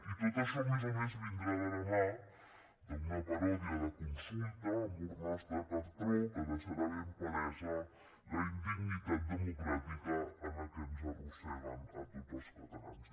i tot això a més a més vindrà de la mà d’una paròdia de consulta amb urnes de cartró que deixarà ben palesa la indignitat democràtica a què ens arrosseguen a tots els catalans